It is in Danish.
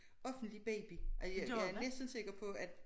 Offentlig baby og jeg jeg næsten sikker på at